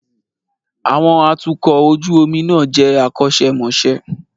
Àwọn atukọ̀ ojú omi náà jẹ́ akọ́ṣẹ́mọṣẹ́.